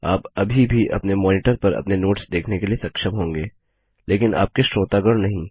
आप अभी भी अपने मॉनिटर पर अपने नोट्स देखने के लिए सक्षम होंगे लेकिन आपके श्रोतागण नहीं